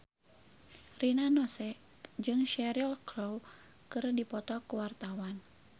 Rina Nose jeung Cheryl Crow keur dipoto ku wartawan